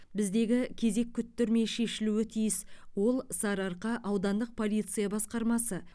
біздегі кезек күттірмей шешілуі тиіс ол сарыарқа аудандық полиция басқармасы